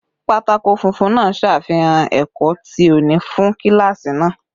Pátákó funfun náà ṣàfihàn ẹ̀kọ́ ti òní fún kíláàsì náà